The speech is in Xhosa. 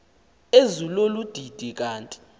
ezilolu didi kanti